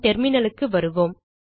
நம் terminalக்கு வருவோம்